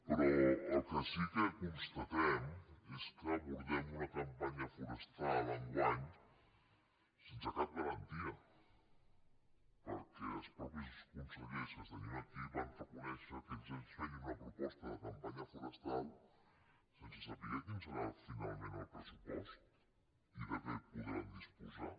però el que sí que constatem és que abordem una cam·panya forestal enguany sense cap garantia perquè els mateixos consellers que tenim aquí van reconèi·xer que se’ns feia una proposta de campanya forestal sense saber quin serà finalment el pressupost i de què podran disposar